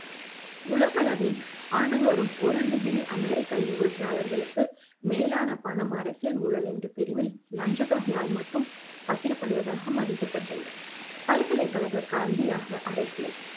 உலகளவில் ஆண்டுதோறும் ஒரு டிகிரி அமெரிக்கா news டாலர்களுக்கு மேலான பணம் அரசியல் ஊழல் எனும் பிரிவில் லஞ்சத்தொகையால் மட்டும் பகிரப்படுவதாக மதிக்கப்பட்டுள்ளது பல்கலைக்கழக கல்வியாக அரசியல்